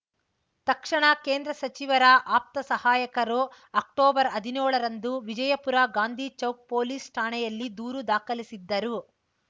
ತಕ್ಷಣ ಕೇಂದ್ರ ಸಚಿವರ ಆಪ್ತ ಸಹಾಯಕರು ಅಕ್ಟೊಬರ್ಹದಿನೋಳರಂದು ವಿಜಯಪುರ ಗಾಂಧಿಚೌಕ್‌ ಪೊಲೀಸ್‌ ಠಾಣೆಯಲ್ಲಿ ದೂರು ದಾಖಲಿಸಿದ್ದರು